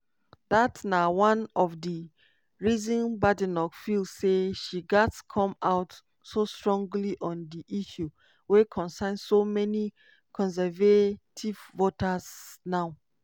dat na one of di reasons badenoch feel say she gatz come out so strongly on di issue wey concern so many conservative voters now.